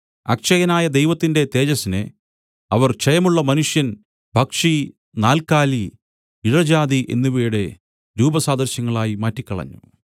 അക്ഷയനായ ദൈവത്തിന്റെ തേജസ്സിനെ അവർ ക്ഷയമുള്ള മനുഷ്യൻ പക്ഷി നാൽക്കാലി ഇഴജാതി എന്നിവയുടെ രൂപസാദൃശ്യങ്ങളായി മാറ്റിക്കളഞ്ഞു